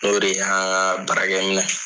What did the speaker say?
N'o de y'a baarakɛminɛn